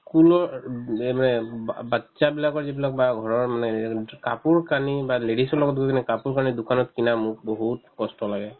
school ৰ এ উম যে মানে বা ~ batches বিলাকৰ যিবিলাক বা ঘৰৰ মানে কাপোৰ-কানি বা ladies ৰ লগত গৈ কিনে কাপোৰ-কানি দোকানত কিনা মোৰ বহুত কষ্ট লাগে